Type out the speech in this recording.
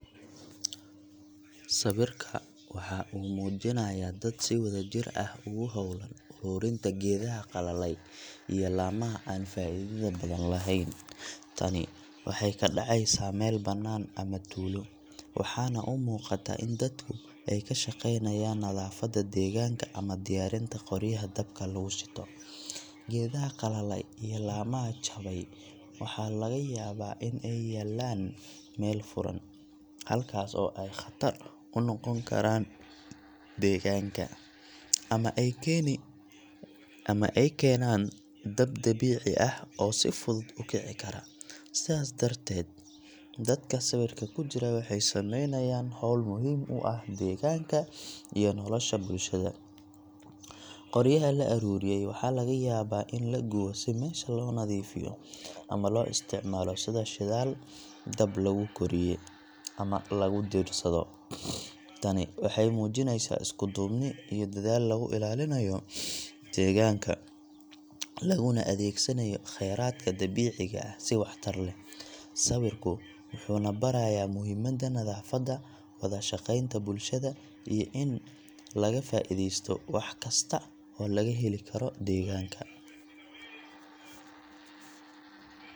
Sawirka waxa uu muujinayaa dad si wadajir ah ugu hawlan ururinta geedaha qalalay iyo laamaha aan faa’iidada badan lahayn. Tani waxay ka dhacaysaa meel banaan ama tuulo, waxaana u muuqata in dadku ay ka shaqaynayaan nadaafadda deegaanka ama diyaarinta qoryaha dabka lagu shito. Geedaha qalalay iyo laamaha jabay waxaa laga yaabaa in ay yaaleen meel furan, halkaas oo ay khatar ku noqon karaan deegaanka, ama ay keenaan dab dabiici ah oo si fudud u kici kara. Sidaas darteed, dadka sawirka ku jira waxay sameynayaan hawl muhiim u ah deegaanka iyo nolosha bulshada. Qoryaha la ururiyay waxaa laga yaabaa in la gubo si meesha loo nadiifiyo, ama loo isticmaalo sida shidaal dab lagu kariyo ama lagu diirsado. Tani waxay muujinaysaa isku-duubni iyo dadaal lagu ilaalinayo deegaanka, laguna adeegsanayo kheyraadka dabiiciga ah si waxtar leh. Sawirka wuxuu na barayaa muhiimadda nadaafadda, wada shaqeynta bulshada, iyo in laga faa’iideysto wax kasta oo laga heli karo deegaanka.